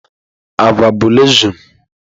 Agwa bụ legsụme.